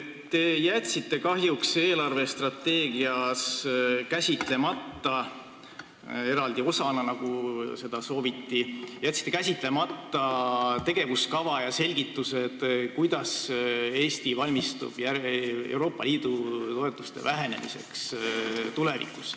Te jätsite kahjuks eelarvestrateegias eraldi osana käsitlemata – kuigi seda sooviti – tegevuskava ja selgitused, kuidas Eesti valmistub Euroopa Liidu toetuste vähenemiseks tulevikus.